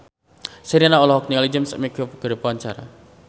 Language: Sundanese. Sherina olohok ningali James McAvoy keur diwawancara